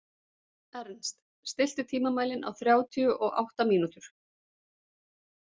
Ernst, stilltu tímamælinn á þrjátíu og átta mínútur.